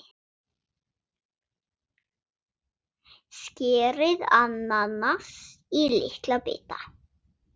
Skerið ananas í litla bita.